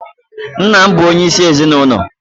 Nna bu onye isi ezinụlọ